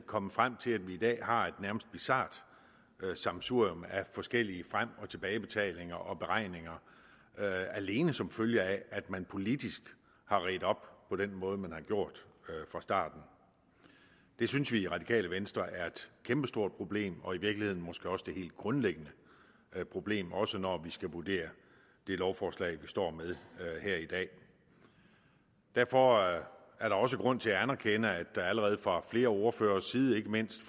kommet frem til at vi i dag har et nærmest bizart sammensurium af forskellige frem og tilbagebetalinger og beregninger alene som følge af at man politisk har redt op på den måde man har gjort fra starten det synes vi i det radikale venstre er et kæmpestort problem og i virkeligheden måske også det helt grundlæggende problem også når vi skal vurdere det lovforslag vi står med her i dag derfor er der også grund til at anerkende at der allerede fra flere ordføreres side ikke mindst